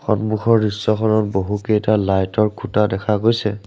সন্মুখৰ দৃশ্যখনত বহুকেইটা লাইট ৰ খুঁটা দেখা গৈছে।